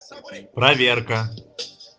проверка